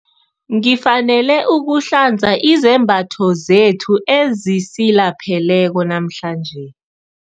Ngifanele ukuhlanza izembatho zethu ezisilapheleko namhlanje.